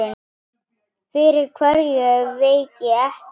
Fyrir hverju veit ég ekki.